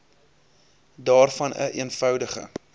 daarvan n eenvoudige